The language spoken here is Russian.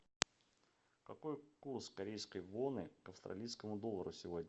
какой курс корейской воны к австралийскому доллару сегодня